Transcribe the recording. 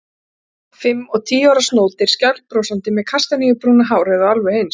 Fimm og tíu ára snótir, skælbrosandi, með kastaníubrúna hárið alveg eins.